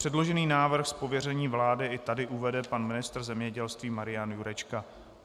Předložený návrh z pověření vlády i tady uvede pan ministr zemědělství Marian Jurečka.